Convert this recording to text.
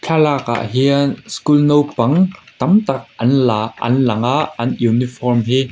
thlalak ah hian school naupang tam tak an la an lang a an uniform hi--